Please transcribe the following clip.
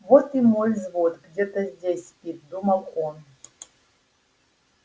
вот и мой взвод где-то здесь спит думал он